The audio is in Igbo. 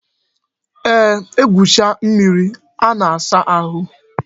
Eeh, egwucha mmiri a na-asa ahụ